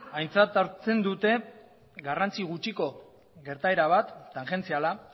aintzat hartzen dute garrantzi gutxiko gertaera bat tangentziala